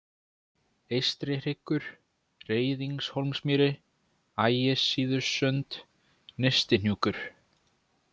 Eystrihryggur, Reiðingshólsmýri, Ægissíðusund, Nyrstihnúkur